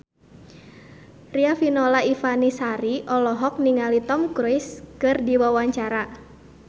Riafinola Ifani Sari olohok ningali Tom Cruise keur diwawancara